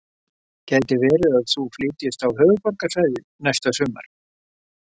Gæti verið að þú flytjist á Höfuðborgarsvæðið næsta sumar?